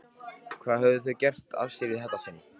Hvað höfðu þau gert af sér í þetta sinn?